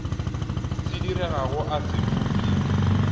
se diregago a se upše